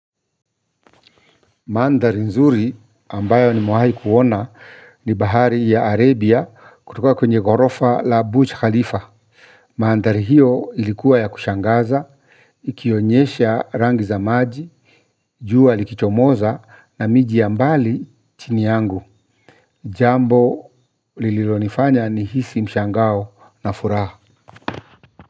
Mandhari nzuri ambayo ni mewahi kuona ni bahari ya Arabia kutoka kwenye gorofa la Butch Khalifa. Mandhari hiyo ilikuwa ya kushangaza, ikionyesha rangi za maji, jua likichomoza na mijii ya mbali chini yangu. Jambo lililo nifanya ni hisi mshangao na furaha.